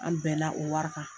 An bɛna o wara kan